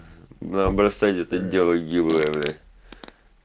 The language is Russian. бросайте это дело гиблое блять